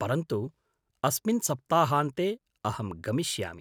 परन्तु अस्मिन् सप्ताहान्ते अहं गमिष्यामि।